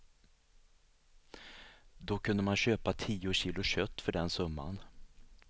Då kunde man köpa tio kilo kött för den summan.